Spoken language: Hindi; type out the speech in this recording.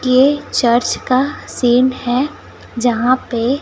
ये चर्च का सीन है यहां पे--